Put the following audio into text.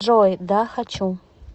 джой да хочу